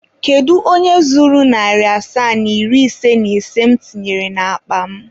Kedu onye zuru narị asaa na iri ise na ise mụ tinyere n'akpa m?